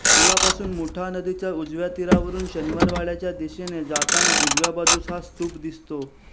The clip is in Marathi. पुलापासून मुठा नदीच्या उजव्या तीरावरून शनिवारवाड्याच्या दिशेने जाताना उजव्या बाजूस हा स्तूप दिसतो